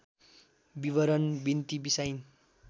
विवरण बिन्ती बिसाइन्